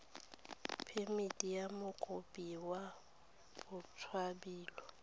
phemiti ya mokopi wa botshabelo